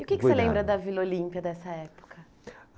E o que que você lembra da Vila Olímpia dessa época?